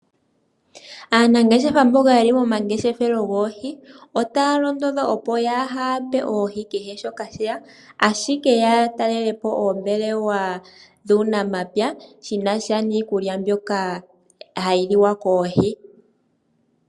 Aanangeshefa mboka ye li momangeshefelo goohi otaya londodhwa opo kaa ya pe oohi kehe shoka sheya, ashike ota ya indilwa ya talelepo oombelewa dhUunamapya shi na sha niikulya mbyoka ha yi liwa koohi.